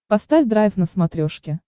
поставь драйв на смотрешке